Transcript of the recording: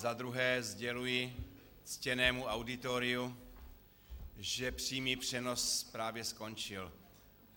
Zadruhé sděluji ctěnému auditoriu, že přímý přenos právě skončil.